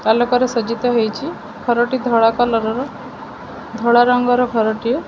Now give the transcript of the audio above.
ଆଲୋକରେ ସଜ୍ଜିତ ହେଇଛି ଘରଟି ଧଳା କଲର୍ ର ଧଳା ରଙ୍ଗର ଘରଟିଏ।